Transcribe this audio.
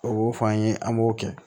O fɔ an ye an b'o kɛ